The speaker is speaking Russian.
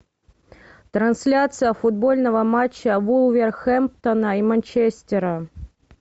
трансляция футбольного матча вулверхэмптона и манчестера